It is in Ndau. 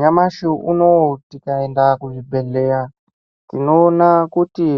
Nyamashi unowu tikaenda kuzvibhedhleya tinoona kuti